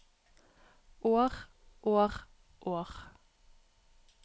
år år år